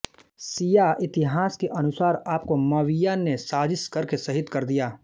शिया इतिहास के अनुसार आपको मविया ने साजिश करके शहीद कर दिया